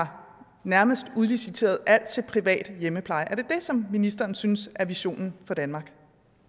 nærmest udliciteret alt til privat hjemmepleje er det det som ministeren synes er visionen for danmark